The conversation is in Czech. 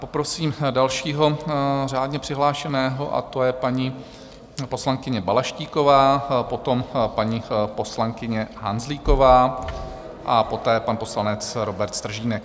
Poprosím dalšího řádně přihlášeného a to je paní poslankyně Balaštíková, potom paní poslankyně Hanzlíková a poté pan poslanec Robert Stržínek.